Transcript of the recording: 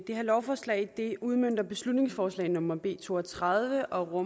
her lovforslag udmønter beslutningsforslag nummer b to og tredive og